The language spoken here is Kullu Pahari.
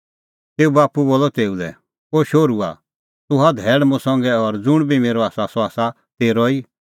तेऊए बाप्पू बोलअ तेऊ लै ओ शोहरूआ तूह हआ धैल़ मुंह संघै और ज़ुंण बी मेरअ आसा सह आसा तेरअ ई